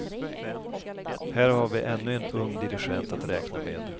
Här har vi ännu en ung dirigent att räkna med.